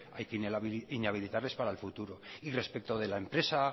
hay que inhabilitarles para el futuro y respecto de la empresa